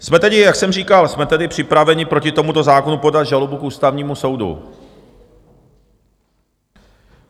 Jsme tedy, jak jsem říkal, jsme tedy připraveni proti tomuto zákonu podat žalobu k Ústavnímu soudu.